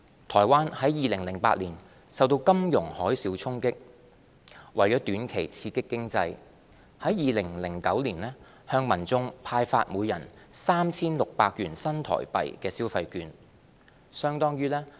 台灣於2008年受到金融海嘯衝擊，為短期刺激經濟，於2009年向民眾派發每人 3,600 元新台幣的消費券。